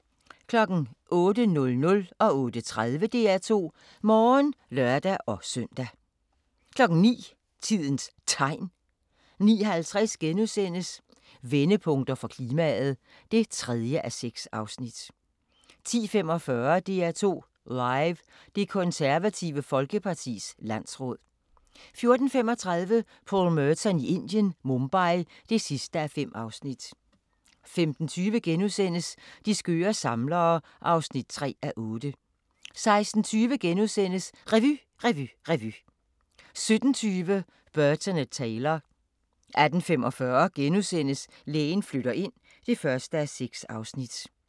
08:00: DR2 Morgen (lør-søn) 08:30: DR2 Morgen (lør-søn) 09:00: Tidens Tegn 09:50: Vendepunkter for klimaet (3:6)* 10:45: DR2 Live: Det Konservative Folkepartis landsråd 14:35: Paul Merton i Indien - Mumbai (5:5) 15:20: De skøre samlere (3:8)* 16:20: Revy, revy, revy * 17:20: Burton & Taylor 18:45: Lægen flytter ind (1:6)*